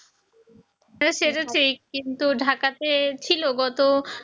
হ্যাঁ সেটা ঠিক কিন্তু ঢাকাতে ছিল গত